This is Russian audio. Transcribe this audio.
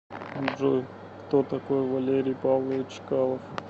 джой кто такой валерий павлович чкалов